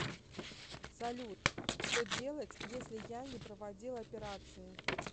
салют что делать если я не проводил операции